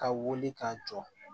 Ka wuli ka jɔ